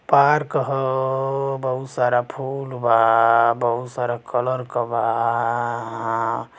Park ह अअ बहुत सारा फूल बा बहुत सारा कलर क बा आ।